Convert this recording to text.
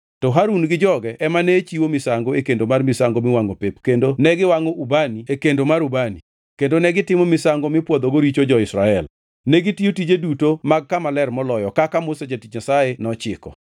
To Harun gi joge ema ne chiwo misango e kendo mar misango miwangʼo pep, kendo ne giwangʼo ubani e kendo mar ubani, kendo negitimo misango mipwodhogo richo jo-Israel. Negitiyo tije duto mag Kama Ler Moloyo, kaka Musa jatich Nyasaye nochiko.